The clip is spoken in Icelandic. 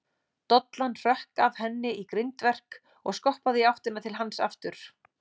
Dollan hrökk af henni í grindverk og skoppaði í áttina til hans aftur.